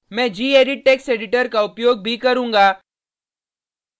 मैं gedit text editor का उपयोग भी करुँगा